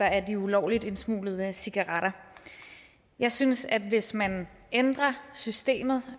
af de ulovligt indsmuglede cigaretter jeg synes at hvis man ændrer systemet